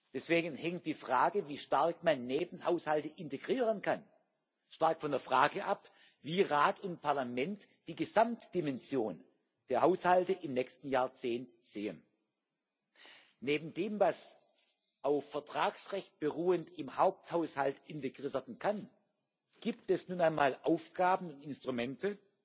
Deswegen hängt die Frage, wie stark man Nebenhaushalte integrieren kann, stark von der Frage ab, wie Rat und Parlament die Gesamtdimension der Haushalte im nächsten Jahrzehnt sehen. Neben dem, was auf Vertragsrecht beruhend im Haupthaushalt integriert werden kann, gibt es nun einmal Aufgaben und Instrumente